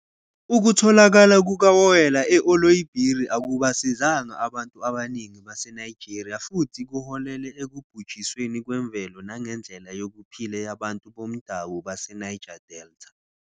Ukutholakala kukawoyela e-Oloibiri akubasizanga abantu abaningi baseNigeria futhi kuholele ekubhujisweni kwemvelo nangendlela yokuphila yabantu bomdabu baseNiger Delta.